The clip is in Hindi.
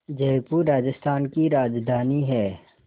जयपुर राजस्थान की राजधानी है